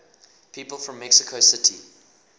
people from mexico city